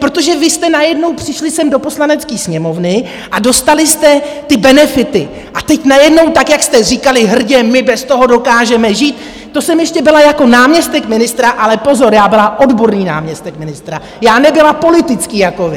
Protože vy jste najednou přišli sem do Poslanecké sněmovny a dostali jste ty benefity a teď najednou, tak jak jste říkali hrdě, my bez toho dokážeme žít - to jsem ještě byla jako náměstek ministra, ale pozor, já byla odborný náměstek ministra, já nebyla politický jako vy.